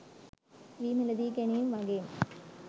වී මිලදී ගැනීම් වගේම